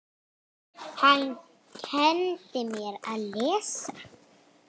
Hann kenndi mér að lesa.